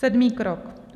Sedmý krok.